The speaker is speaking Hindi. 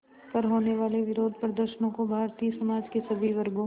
पर होने वाले विरोधप्रदर्शनों को भारतीय समाज के सभी वर्गों